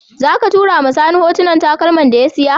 Zaka tura wa sani hotunan takalman da ya siya?